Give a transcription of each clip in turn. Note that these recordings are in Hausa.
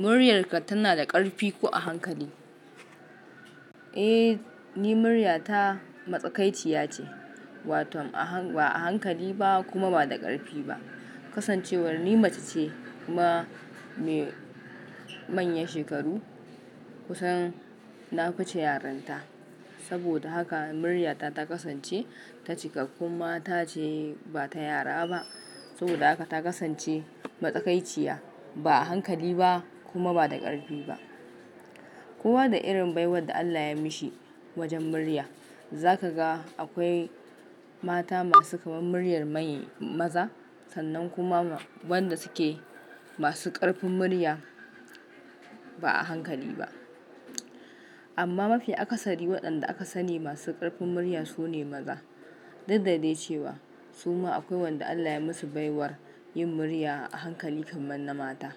"Muryarka tana da ƙarfi ko a hankali?" Eh, ni muryata matsakaiciya ce, wato ba'a hankali ba kuma ba da ƙarfi ba Kasancewar ni mace ce, kuma mai manyan shekaru, kusan na fi ce yarinta. Saboda haka muryata ta kasance, ta cikakkun mata ce ba ta yara ba. Saboda haka ta kasance matsakaiciya, ba a hankali ba kuma ba da ƙarfi ba. Kasancewar ni mace ce, kuma mai manyan shekaru, kusan na fi ce yarinta. Za ka ga akwai mata masu kamar muryar man, maza, sannan kuma wanda suke masu ƙarfin murya, ba'a hankali ba amma mafi akasari waɗanda aka sani masu ƙarfin murya su ne maza. Duk dai cewa, suma akwai wanda Allah ya musu baiwar yin murya a hankali kamar na mata.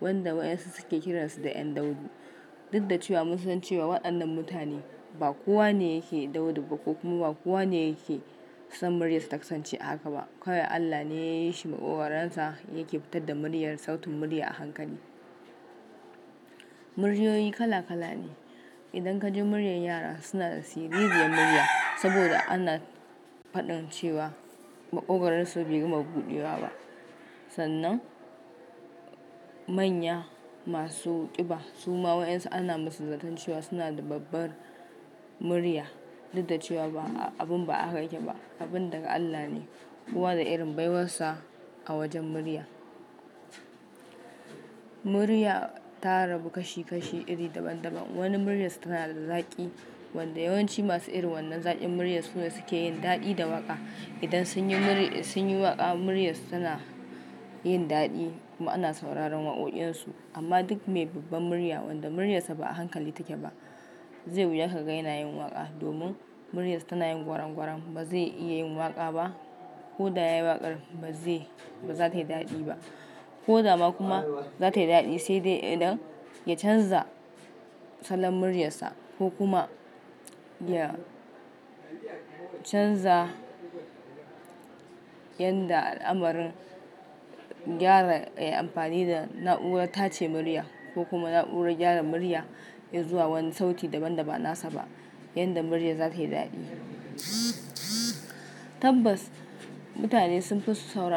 Wanda waƴansu suke kiransu da ƴan daudu. Duk da ce wa mun san cewa waɗannan mutane ba kowa ne yake daudu ba, ko kuma ba kowa ne yake son muryarsa ta kasance a haka ba, Kawai Allah ne ya yi shi maƙogaran sa yake fitar da muryar, sautun murya a hankali. Muryoyi kala-kala ne idan ka ji muryar yara suna da siririyar murya, saboda ana faɗin cewa maƙogararsu bai gama buɗewa ba, Sannan, manya masu ƙiba suma waƴansu ana musu zaton cewa suna da babbar murya. Duk da ce cewa abun ba a haka yake ba, abun daga Allah ne. Kowa da irin baiwarsa a wajen murya. Murya ta rabu kashi-kashi iri daban-daban. Wani muryarsa tana da zaƙi, wanda yawanci masu irin wannan zaƙin muryar su ne suke yin daɗi da waƙa, idan sun yi waƙa muryarsu tana yin daɗi kuma ana sauraron waƙoƙinsu. Amma duk mai babbar murya wanda muryarsa ba a hankali take ba, zai wuya ka ga ya na yin waƙa, domin muryarsa tana yin gwaran-gwaram, ba zai iya yin waƙa ba, ko da ya yi waƙar ba za ta yi daɗi ba. Ko dama kuma za ta yi daɗi sai dai idan ya canza salon muryarsa ko kuma ya canza yanda ala'marin gyara ya yi amfani da na'urar tace murya, ko kuma na'urar gyara murya, ya zuwa wani sauti da ban da ba nasa ba, yanda muryar za ta yi daɗi, Tabbas mutane sun fi son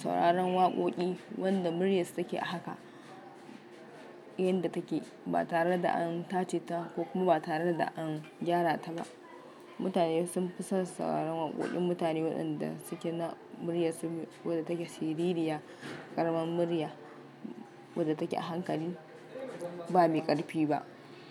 sauraron waƙoƙi wanda muryarsa take a haka, yanda take, ba tare da an tace ta ko kuma ba tare da an gyara ta ba. Mutane sun fi son sauraron waƙoƙin mutane waɗanda suke na muryarsu wadda take siririya, ƙaramin murya, wadda take a hankali ba me ƙarfi ba.